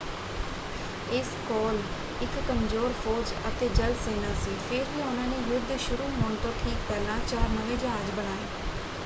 ਇਸ ਕੋਲ ਇੱਕ ਕਮਜ਼ੋਰ ਫੌਜ ਅਤੇ ਜਲ ਸੈਨਾ ਸੀ ਫਿਰ ਵੀ ਉਹਨਾਂ ਨੇ ਯੁੱਧ ਦੇ ਸ਼ੁਰੂ ਹੋਣ ਤੋਂ ਠੀਕ ਪਹਿਲਾਂ ਚਾਰ ਨਵੇਂ ਜਹਾਜ਼ ਬਣਾਏ।